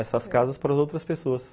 Essas casas para as outras pessoas.